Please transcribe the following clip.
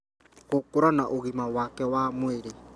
gũkũra na ũgima wake wa mwĩrĩ